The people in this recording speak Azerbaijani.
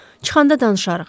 Çıxanda danışarıq.